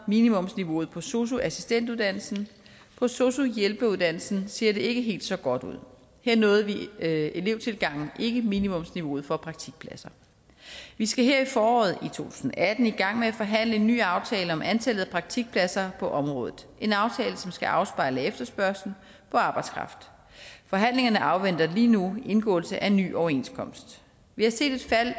minimumsniveauet på sosu assistentuddannelsen på sosu hjælperuddannelsen ser det ikke helt så godt ud her nåede elevtilgangen ikke minimumsniveauet for praktikpladser vi skal her i foråret i to tusind og atten i gang med at forhandle en ny aftale om antallet af praktikpladser på området en aftale som skal afspejle efterspørgslen på arbejdskraft forhandlingerne afventer lige nu indgåelse af ny overenskomst vi har set et fald